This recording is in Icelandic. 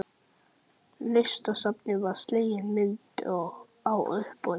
Listasafninu var slegin myndin á uppboði.